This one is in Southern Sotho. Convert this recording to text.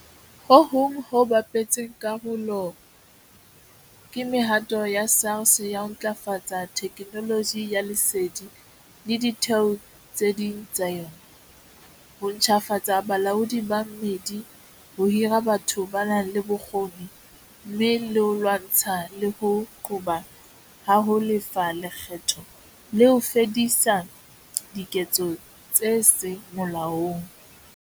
Ho hong ho bapetseng karolo ke mehato ya SARS ya ho ntlafatsa theknoloji ya lesedi le ditheo tse ding tsa yona, ho ntjhafatsa bolaodi ba mmedi, ho hira batho ba nang le bokgoni, mme le ho lwantshana le ho qoba ha ho lefa lekgetho le ho fedisa diketso tse seng molaong.